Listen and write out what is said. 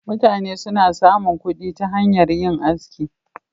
Mutane suna samun kuɗi ta hanyar yin aski.